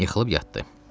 Yıxılıb yatdı.